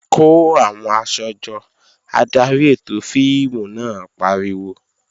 Kó àwọn aṣọ jọ! Adarí ètò fíìmù náà pariwo.